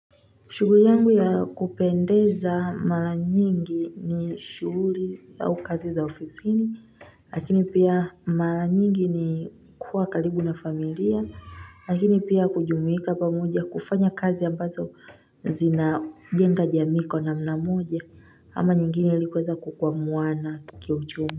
Shughuli yangu ya kupendeza mara nyingi ni shughuli au kazi za ofisini, lakini pia mara nyingi ni kuwa karibu na familia, lakini pia kujumuika pamoja kufanya kazi ambazo zina jenga jamii iko namna moja ama nyingine ilikuweza kukwamuana kiuchumi.